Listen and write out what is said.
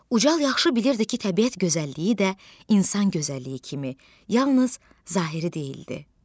Ucal yaxşı bilirdi ki, təbiət gözəlliyi də insan gözəlliyi kimi yalnız zahiri deyildi.